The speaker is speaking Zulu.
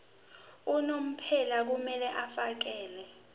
unomphela kumele afakele